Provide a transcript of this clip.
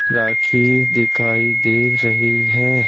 राखी दिखाई दे रही है।